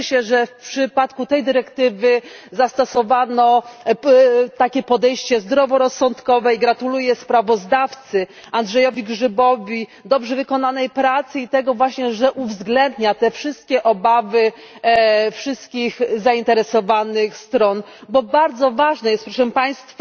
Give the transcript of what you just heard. Cieszę się, że w przypadku tej dyrektywy zastosowano takie podejście zdroworozsądkowe i gratuluję sprawozdawcy Andrzejowi Grzybowi dobrze wykonanej pracy i tego właśnie, że uwzględnia te wszystkie obawy wszystkich zainteresowanych stron, bo bardzo ważne jest proszę Państwa,